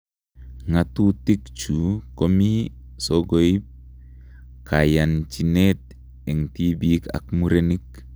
Ng'atutichu komii sokoip kayanchiniet eng tibiik ak murenik.